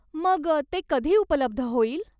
मग ते कधी उपलब्ध होईल?